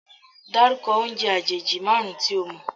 Dárúkọ oúnjẹ àjèjì márùn-ún tí o mọ̀?